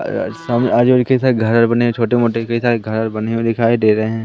अ सामने आधे-आधे कई सारे घर बने है छोटे-मोटे कई सारे घर बने हुए दिखाई दे रहे है।